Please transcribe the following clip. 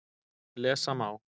Lesa má